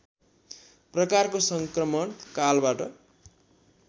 प्रकारको सङ्क्रमण कालबाट